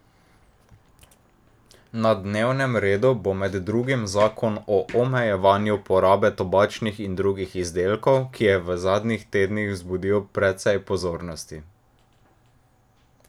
Na dnevnem redu bo med drugim zakon o omejevanju porabe tobačnih in drugih izdelkov, ki je v zadnjih tednih vzbudil precej pozornosti.